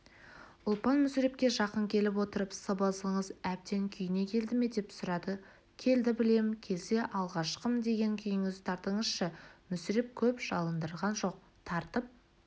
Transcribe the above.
ұлпан мүсірепке жақын келіп отырып сыбызғыңыз әбден күйіне келді ме деп сұрады келді білем келсе алғашқым деген күйіңізді тартыңызшы мүсіреп көп жалындырған жоқ тартып